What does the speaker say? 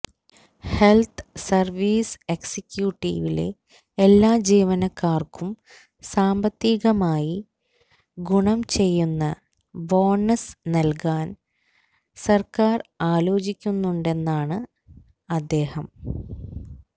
health service എക്സിക്യൂട്ടിവിലെ എല്ലാ ജീവനക്കാർക്കും സാമ്പത്തീകമായി ഗുണം ചെയ്യുന്ന ബോണസ് നൽകാൻ സർക്കാർ ആലോചിക്കുന്നുണ്ടെന്നാണ് അദ്ദേഹം